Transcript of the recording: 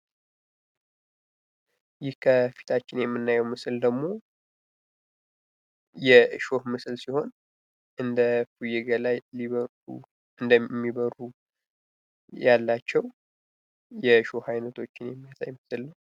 ይህ ከፊታችን የምናየው ምስል ደግሞ የእሾህ ምስል ሲሆን እንደ እፉየ ገላ ያሉ እንደሚበሩ ያላቸው የእሾህ አይነቶች የሚያሳይ ምስል ነው።